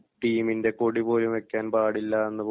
ടീമിൻ്റെ കൊടി പോലും വയ്ക്കാൻ പാടിലാന്ന്